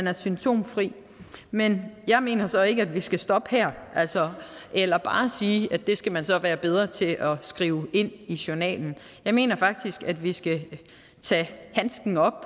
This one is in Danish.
er symptomfri men jeg mener så ikke at vi skal stoppe her eller bare sige at det skal man så være bedre til at skrive ind i journalen jeg mener faktisk at vi skal tage handsken op